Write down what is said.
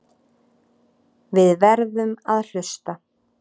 Við verðum að hlusta.